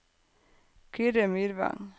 Kyrre Myrvang